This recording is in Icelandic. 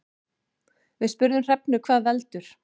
Við spurðum Hrefnu hvað veldur.